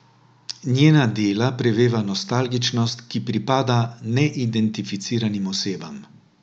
Njena dela preveva nostalgičnost, ki pripada neidentificiranim osebam.